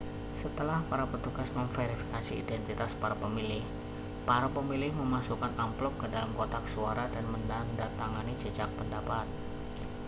setelah para petugas memverifikasi identitas para pemilih para pemilih memasukkan amplop ke dalam kotak suara dan menandatangani jajak pendapat